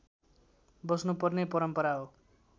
बस्नुपर्ने परम्परा हो